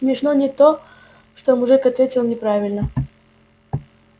смешно не то что мужик ответил неправильно